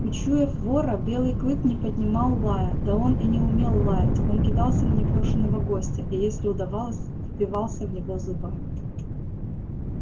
учуяв вора белый клык не поднимал лая да он и не умел лаять он кидался на непрошеного гостя и если удавалось впивался в него зубами